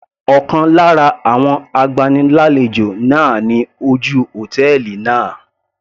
Ọ̀kan lára àwọn agbani lálejò náà ni ojú hòtẹ́ẹ̀lì náà.